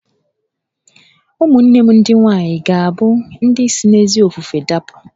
Ụmụnne m ndị nwaanyị ga-abụ ndị si n'ezi ofufe dapụ